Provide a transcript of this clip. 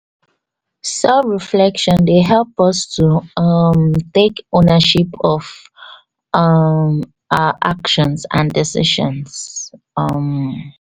Self relection dey help us to um take ownership of um our action and decision um.